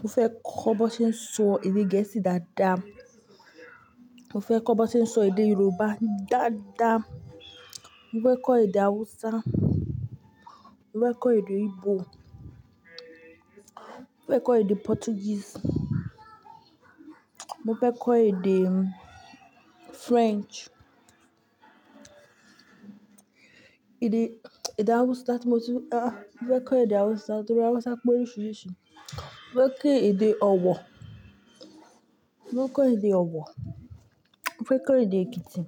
Mo fẹ́ kọ́ bi won ṣe ń sọ èdè Gẹ̀ẹ́sì dáadáa. Mo fẹ́ kọ́ bi won ṣe ń sọ èdè Yorùbá dáadáa. Mo fẹ́ kọ́ èdè Hausa, mo fẹ́ kọ́ èdè Igbo, mo fẹ́ kọ́ èdè Portuguese, mo fẹ́ kọ́ èdè French. Èdè, èdè Hausa ti mọ tu-- a, mo fẹ́ kọ́ èdè Hausa nítorí Hausa pé oríṣiríṣi. Mo fẹ́ kẹ́ èdè Ọ̀wọ̀, mo fẹ́ kọ́ èdè Ọ̀wọ̀. Mo fẹ́ kọ́ èdè Ekiti,